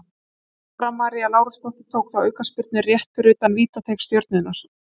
Dóra María Lárusdóttir tók þá aukaspyrnu rétt fyrir utan vítateig Stjörnunnar.